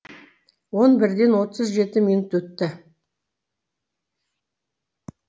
он бірден отыз жеті минут өтті